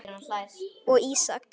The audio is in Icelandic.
og Ísak.